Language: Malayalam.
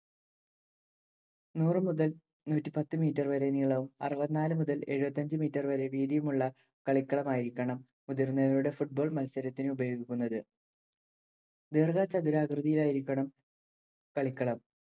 നൂറു മുതൽ നൂറ്റിപ്പത്ത് meter വരെ നീളവും അറുപത്തിനാല് മുതല്‍ എഴുപത്തിയഞ്ച് meter വരെ വീതിയുമുളള കളിക്കളമായിരിക്കണം. മുതിർന്നവരുടെ football മത്സരത്തിനുപയോഗിക്കുന്നത്‌. ദീർഘ ചതുരാകൃതിയിലായിരിക്കണം കളിക്കളം.